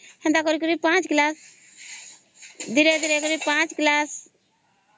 ସେନ୍ତା କରି କରି ପାଞ୍ଚ class ଧୀରେ ଧୀରେ କରି ପାଞ୍ଚ class